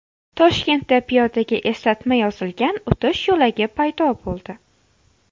Toshkentda piyodaga eslatma yozilgan o‘tish yo‘lagi paydo bo‘ldi .